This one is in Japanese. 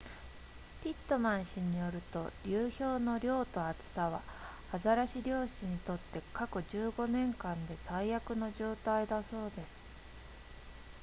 ピットマン氏によると流氷の量と厚さはアザラシ漁師にとって過去15年間で最悪の状態だそうです